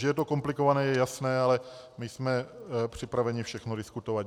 Že je to komplikované, je jasné, ale my jsme připraveni všechno diskutovat.